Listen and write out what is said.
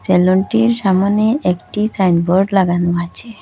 সেলুনটির সামোনে একটি সাইনবোর্ড লাগানো আছে।